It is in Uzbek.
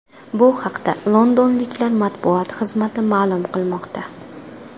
Bu haqda londonliklar matbuot xizmati ma’lum qilmoqda .